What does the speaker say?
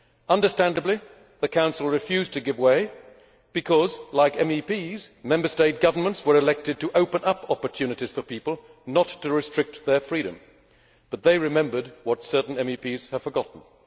Understandably, the Council refused to give way because, like MEPs, Member State governments were elected to open up opportunities for people, not to restrict their freedom. They, however, remembered what certain MEPs have forgotten.